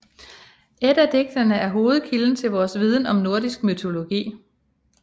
Eddadigtene er hovedkilde til vores viden om nordisk mytologi